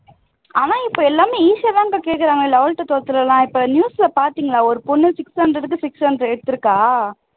ஆனா இப்போ எல்லாமே easy ஆ தான்க்கா கேக்குறாங்க eleventh twelfth ல எல்லாம் இப்போ news ல பாத்தீங்களா ஒரு பொண்ணு six hundred க்கு six hundred எடுத்திருக்கா